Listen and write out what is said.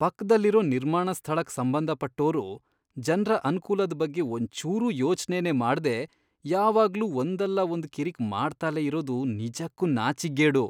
ಪಕ್ದಲ್ಲಿರೋ ನಿರ್ಮಾಣ ಸ್ಥಳಕ್ ಸಂಬಂಧಪಟ್ಟೋರು ಜನ್ರ ಅನ್ಕೂಲದ್ ಬಗ್ಗೆ ಒಂಚೂರೂ ಯೋಚ್ನೆನೇ ಮಾಡ್ದೇ ಯಾವಾಗ್ಲೂ ಒಂದಲ್ಲಾ ಒಂದ್ ಕಿರಿಕ್ ಮಾಡ್ತಲೇ ಇರೋದು ನಿಜಕ್ಕೂ ನಾಚಿಕ್ಗೇಡು.